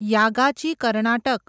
Yagachi Karnataka